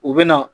U bɛ na